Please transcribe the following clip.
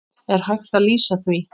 Er hægt að lýsa því?